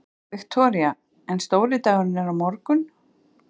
Viktoría: En stóri dagurinn er á morgun?